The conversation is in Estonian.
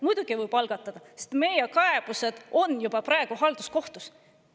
Muidugi võib algatada, sest meie kaebused on juba praegu halduskohtus.